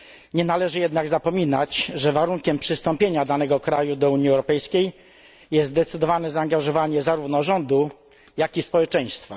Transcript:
Nie należy jednak zapominać, że warunkiem przystąpienia danego kraju do Unii Europejskiej jest zdecydowane zaangażowanie zarówno rządu jak i społeczeństwa.